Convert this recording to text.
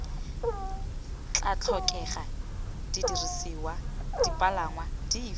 tla tlhokega didirisiwa dipalangwa dife